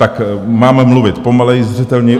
Tak mám mluvit pomaleji, zřetelněji?